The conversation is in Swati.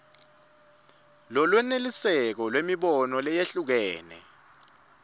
lolwenelisako lwemibono leyehlukene